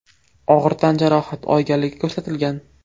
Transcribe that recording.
og‘ir tan jarohati olganligi ko‘rsatilgan.